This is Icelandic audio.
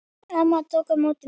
Amma tók á móti mér.